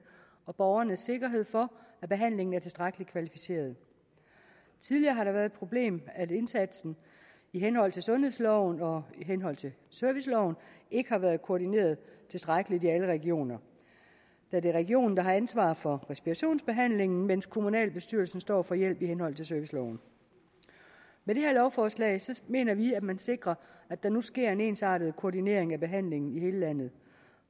og borgernes sikkerhed for at behandlingen er tilstrækkelig kvalificeret tidligere har det været et problem at indsatsen i henhold til sundhedsloven og i henhold til serviceloven ikke har været koordineret tilstrækkeligt i alle regioner da det er regionen der har ansvar for respirationsbehandlingen mens kommunalbestyrelsen står for hjælp i henhold til serviceloven med det her lovforslag mener vi at man sikrer at der nu sker en ensartet koordinering af behandlingen i hele landet